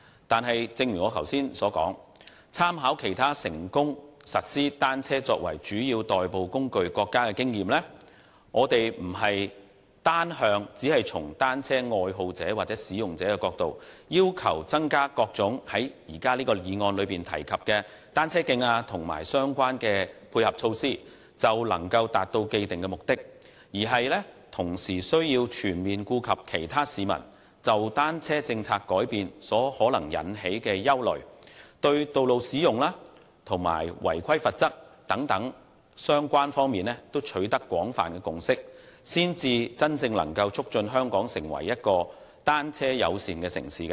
但是，正如我剛才所說，參考其他成功實施單車作為主要代步工具的國家的經驗，我們並非單從單車愛好者或使用者的角度，要求增加各種在這項議案內提及的單車徑和相關的配合措施便能達到既定的目的，而是同時需要全面顧及其他市民對單車政策的改變可能產生的憂慮，就道路使用及違規罰則等相關方面都取得廣泛共識，才能真正促進香港成為一個單車友善的城市。